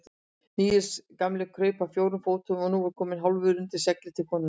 Níels gamli kraup á fjórum fótum og var nú kominn hálfur undir seglið til konunnar.